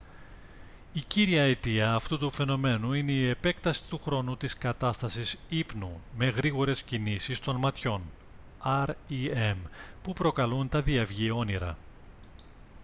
η κύρια αιτία αυτού του φαινομένου είναι η επέκταση του χρόνου της κατάστασης ύπνου με γρήγορες κινήσεις των ματιών rem που προκαλούν τα διαυγή όνειρα